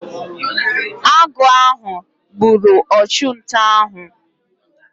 Agụ ahụ gburu ọchụnta ahụ.